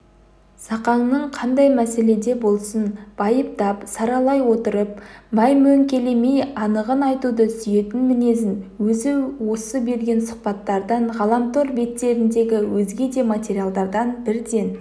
зақаңның қандай мәселеде болсын байыптап-саралай отырып мәймөңкелемей анығын айтуды сүйетін мінезін өзі осы берген сұхбаттардан ғаламтор беттеріндегі өзге де материалдардан бірден